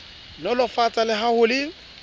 nolofatsa le ha ho le